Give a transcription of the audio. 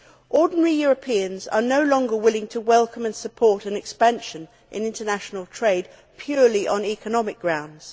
Ordinary Europeans are no longer willing to welcome and support an expansion in international trade purely on economic grounds.